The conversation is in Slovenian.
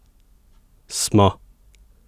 Smo!